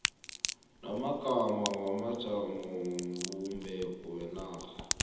wamagama wamajamobumbeko wenarha